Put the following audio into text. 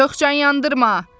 Çox can yandırma!